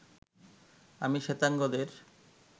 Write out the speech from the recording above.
আমি শ্বেতাঙ্গদের